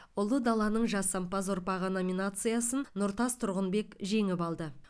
ұлы даланың жасампаз ұрпағы номинациясын нұртас тұрғынбек жеңіп алды